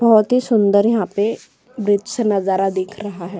बहोत ही सुंदर यहाँ पे ब्रिज से नज़ारा दिख रहा है।